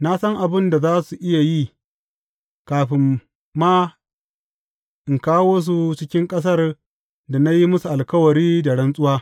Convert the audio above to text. Na san abin da za su iya yi, kafin ma in kawo su cikin ƙasar da na yi musu alkawari da rantsuwa.